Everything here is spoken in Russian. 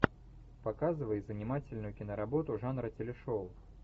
показывай занимательную киноработу жанра телешоу